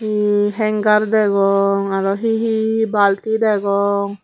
emm hengar degong arw hi hi balti degong.